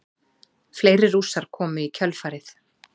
Fleiri Rússar komu í kjölfarið.